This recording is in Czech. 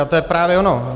A to je právě ono.